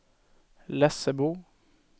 Lessebo